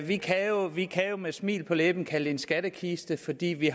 vi kan vi kan jo med smil på læben kalde det en skattekiste fordi vi